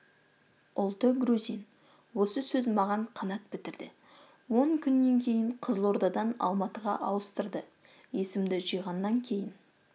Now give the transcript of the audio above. ұлты грузин осы сөз маған қанат бітірді он күннен кейін қызылордадан алматыға ауыстырды есімді жиғаннан кейін